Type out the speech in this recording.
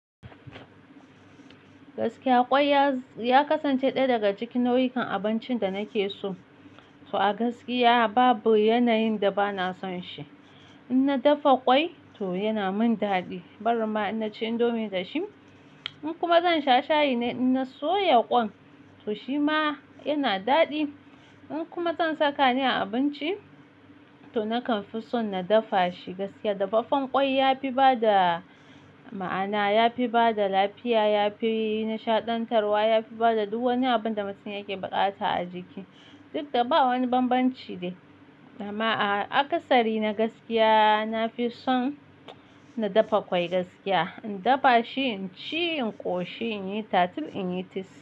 Gaskiya kwai ya kasance ɗaya daga cikin nau'ikan abincin da nake so. To a gaskiya babu yanayin da ba na son shi. In na dafa kwai to yana min daɗi. Barin ma in ci indomie da shi. In kuma zan sha shayi in na soya ƙwan, to shi ma yana daɗi. In kuma zan saka ne a abinci, to nakan fi son na dafa shi gaskiya. Dafafen ƙwai yafi bada ma'ana, yafi bada lafiya, yafi nishaɗantarwa, yafi bada duk wani abun da mutum yake buƙata a jiki. Duk da ba wani banbanci ne. Dama a kasari na gaskiya, nafi son na dafa ƙwai gaskiya. In dafa shi, in ci, in ƙoshi, in yi tatir, in yi tis.